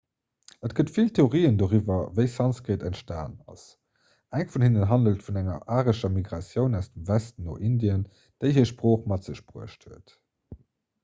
et gëtt vill theorien doriwwer wéi sanskrit entstanen ass eng vun hinnen handelt vun enger arescher migratioun aus dem westen no indien déi hir sprooch mat sech bruecht huet